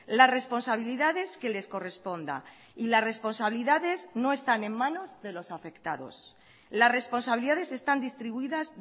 las responsabilidades que les corresponda y las responsabilidades no están en manos de los afectados las responsabilidades están distribuidas